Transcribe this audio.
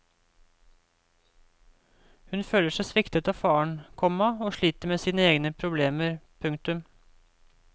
Hun føler seg sviktet av faren, komma og sliter med sine egne problemer. punktum